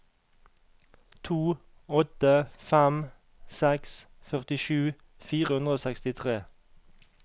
to åtte fem seks førtisju fire hundre og sekstitre